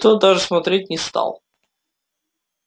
тот даже смотреть не стал